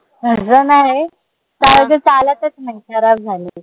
नई कारण ते चालतच खराब झालंय